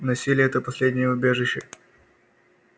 насилие это последнее убежище